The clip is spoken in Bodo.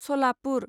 सलापुर